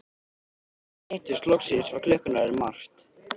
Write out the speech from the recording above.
Þegar við hittumst loksins var klukkan orðin margt.